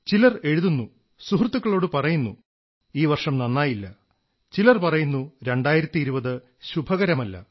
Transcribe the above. ചിലർ എഴുതുന്നു സുഹൃത്തുക്കളോടു പറയുന്നു ഈ വർഷം നന്നായില്ല ചിലർ പറയുന്നു 2020 ശുഭകരമല്ല